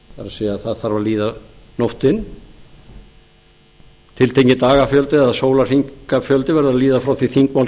afbrigðum það er það þarf að líða nóttin tiltekinn dagafjöldi eða sólarhringafjöldi verður að líða frá því að þingmál